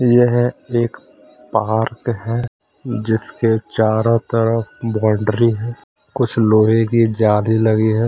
यह एक पहाड़ पे है जिसके चारो तरफ बाउंड्ररी है कुछ लोहे के जाले लगे हैं ।